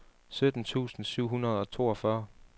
sytten tusind syv hundrede og toogfyrre